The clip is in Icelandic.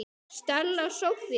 Stella Soffía.